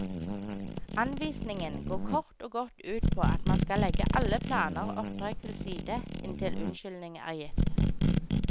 Anvisningen går kort og godt ut på at man skal legge alle planer og oppdrag til side inntil unnskyldning er gitt.